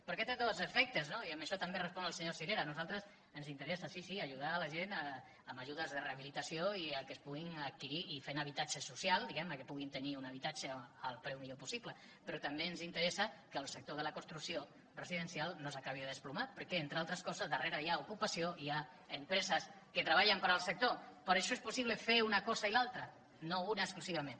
perquè té dos efectes no i amb això també responc al senyor sirera a nosaltres ens interessa sí sí ajudar la gent amb ajudes de rehabilitació i que es puguin adquirir i fent habitatge social diguem ne que puguin tenir un habitatge al preu millor possible però també ens interessa que el sector de la construcció residencial no s’acabi de desplomar perquè entre altres coses darrere hi ha ocupació i hi ha empreses que treballen per al sector per això és possible fer una cosa i l’altra no una exclusivament